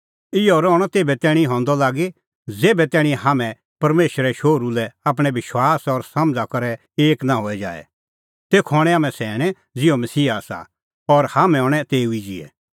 इहअ रहणअ तेभै तैणीं हंदअ लागी ज़ेभै तैणीं हाम्हैं परमेशरे शोहरू लै आपणैं विश्वास और समझ़ा करै एक नां हई जाए तेखअ हणैं हाम्हैं सैणैं ज़िहअ मसीहा आसा और हाम्हैं हणैं तेऊ ई ज़िहै